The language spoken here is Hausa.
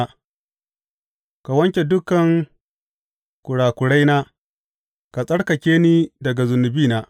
Ka wanke dukan kurakuraina ka tsarkake ni daga zunubina.